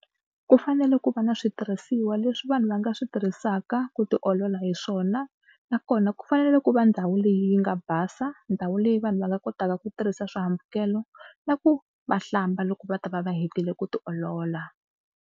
Ku fanele ku va na switirhisiwa leswi vanhu va nga swi tirhisaka ku tiolola hi swona nakona ku fanele ku va ndhawu leyi nga basa. Ndhawu leyi vanhu va nga kotaka ku tirhisa swihambukelo na ku va hlamba loko va ta va va hetile ku tiolola.